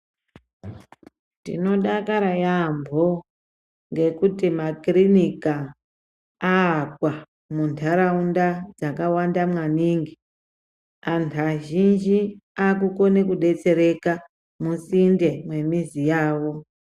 Tinodakara yambo ,ngekuti makirinika aakwa mundaraunda dzakawanda maningi, antu azhinji akukone kudetsereka, musinde mwemizi yavo.